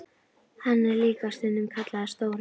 Hann er líka stundum kallaður Stóri björn.